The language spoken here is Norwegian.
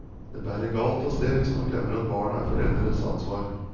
Det bærer galt av sted hvis man glemmer at barn er foreldres ansvar.